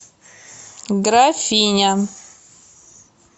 графиня